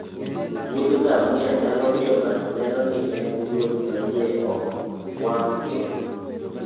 wuodh ngamia nyalo miyo ng'ato neno ni en wuoth ma iye ok wang' piyo.